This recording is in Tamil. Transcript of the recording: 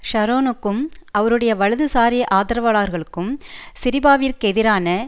ஷரோனுக்கும் அவருடைய வலதுசாரி ஆதரவாளர்களுக்கும் சிரிபாவிற்கெதிரான